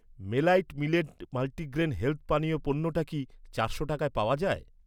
মেলাইট millet multigrain health পানীয় পণ্যটা কি চারশো টাকায় পাওয়া যায়?